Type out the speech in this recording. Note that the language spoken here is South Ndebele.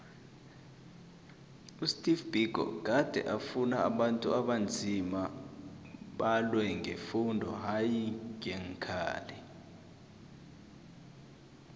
usteve biko gade afuna ukhuthi abantu abanzima balwe ngefundo hayi ngeenkhali